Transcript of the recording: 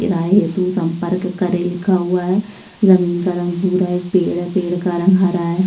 किराए हेतु संपर्क करें लिखा हुआ है। जमीन का रंग भूरा है। एक पेड़ है। पेड़ का रंग हरा है।